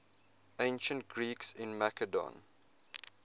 ancient greeks in macedon